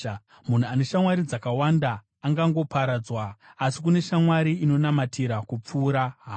Munhu ane shamwari dzakawanda angangoparadzwa, asi kune shamwari inonamatira kupfuura hama.